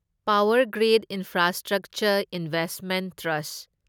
power grid infrastructure investment trust